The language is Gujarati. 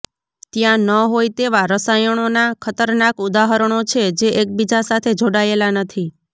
ત્યાં ન હોય તેવા રસાયણોના ખતરનાક ઉદાહરણો છે જે એકબીજા સાથે જોડાયેલા નથી